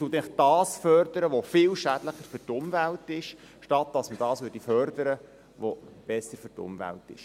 Das heisst, man fördert das, was für die Umwelt viel schädlicher ist, anstatt das, was für die Umwelt besser ist.